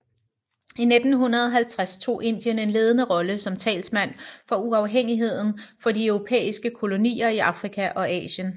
I 1950 tog Indien en ledende rolle som talsmand for uafhængighed for de europæiske kolonier i Afrika og Asien